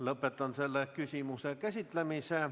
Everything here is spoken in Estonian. Lõpetan selle küsimuse käsitlemise.